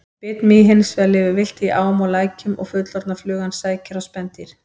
Bitmý lifir hins vegar villt í ám og lækjum og fullorðna flugan sækir á spendýr.